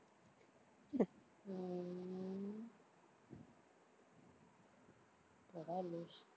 போடா லூசு